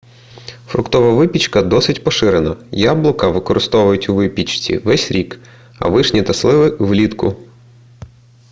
фруктова випічка досить поширена яблука використовують у випічці весь рік а вишні та сливи влітку